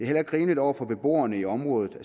heller ikke rimeligt over for beboerne i området at